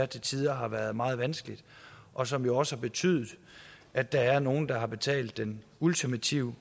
til tider har været meget vanskelig og som jo også har betydet at der er nogle at der har betalt den ultimative